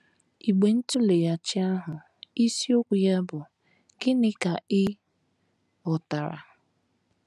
Igbe ntụleghachi ahụ isiokwu ya bụ́ “ Gịnị Ka Ị Ghọtara? ”